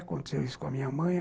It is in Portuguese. Aconteceu isso com a minha mãe.